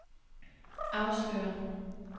afslører